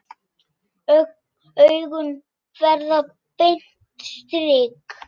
Augun verða beint strik.